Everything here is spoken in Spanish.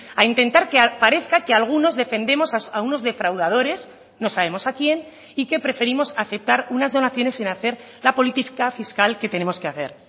a intentar que parezca que algunos defendemos a unos defraudadores no sabemos a quién y que preferimos aceptar unas donaciones sin hacer la política fiscal que tenemos que hacer